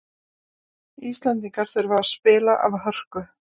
Íslendingar þurfa að spila af hörku